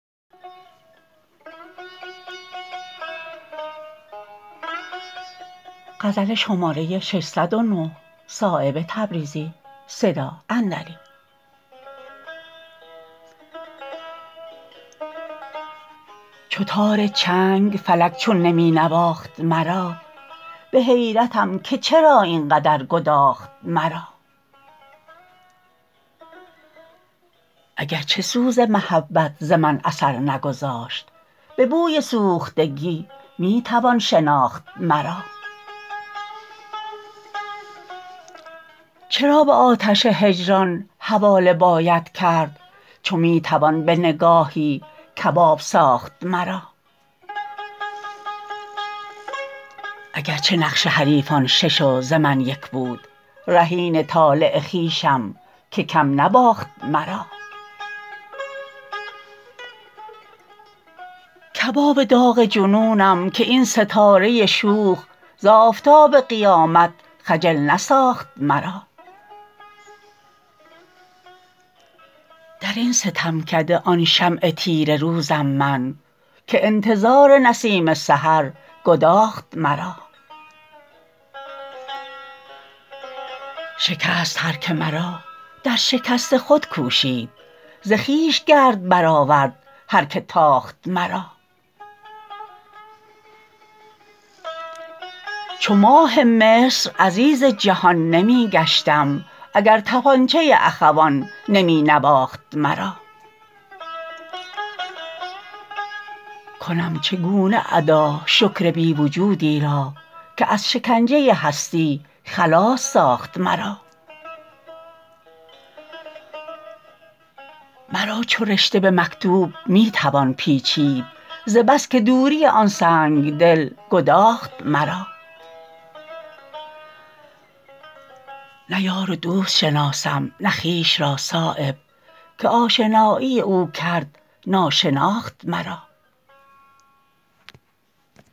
چو تار چنگ فلک چون نمی نواخت مرا به حیرتم که چرا این قدر گداخت مرا اگر چه سوز محبت ز من اثر نگذاشت به بوی سوختگی می توان شناخت مرا چرا به آتش هجران حواله باید کرد چو می توان به نگاهی کباب ساخت مرا اگر چه نقش حریفان شش و ز من یک بود رهین طالع خویشم که کم نباخت مرا کباب داغ جنونم که این ستاره شوخ ز آفتاب قیامت خجل نساخت مرا درین ستمکده آن شمع تیره روزم من که انتظار نسیم سحر گداخت مرا شکست هر که مرا در شکست خود کوشید ز خویش گرد برآورد هر که تاخت مرا چو ماه مصر عزیز جهان نمی گشتم اگر تپانچه اخوان نمی نواخت مرا کنم چگونه ادا شکر بی وجودی را که از شکنجه هستی خلاص ساخت مرا مرا چو رشته به مکتوب می توان پیچید ز بس که دوری آن سنگدل گداخت مرا نه یار و دوست شناسم نه خویش را صایب که آشنایی او کرد ناشناخت مرا